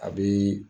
A bi